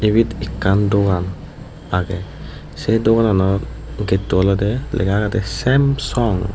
ibet ekkan dogan agey sei doganano getto oley lega agede Samsung.